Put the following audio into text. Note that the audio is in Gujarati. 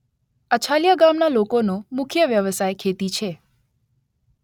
અછાલિયા ગામના લોકોનો મુખ્ય વ્યવસાય ખેતી છે.